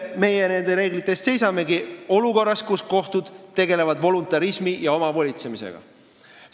Muide, olukorras, kus kohtud tegelevad voluntarismi ja omavolitsemisega, meie nende reeglite eest seisamegi.